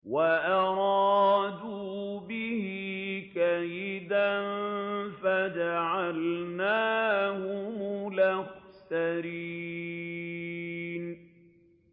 وَأَرَادُوا بِهِ كَيْدًا فَجَعَلْنَاهُمُ الْأَخْسَرِينَ